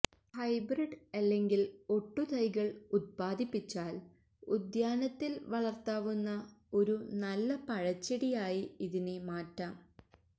hybrid അലെങ്കിൽഒട്ടുതൈകൾ ഉദ്പാദിപ്പിച്ചാൽ ഉദ്യാനത്തിൽ വളർത്താവുന്ന ഒരു നല്ല പഴചെടിയായി ഇതിനെ മാറ്റാം